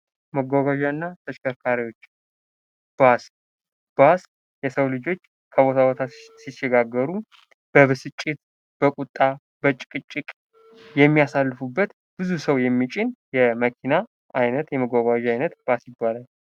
መጓጓዣ እና ተሽከርካሪዎች ። ባስ ፡ ባስ የሰው ልጆች ከቦታ ቦታ ሲሸጋገሩ በብስጭት በቁጣ በጭቅጭቅ የሚያሳልፉበት ብዙ ሰው የሚጭን የመኪና አይነት የመጓጓዣ አይነት ባስ ይባላል ።